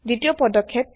দ্বিতীয় পদক্ষেপ